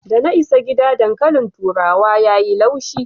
Da na isa gida, dankalin turawa ya yi laushi.